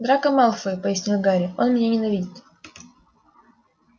драко малфой пояснил гарри он меня ненавидит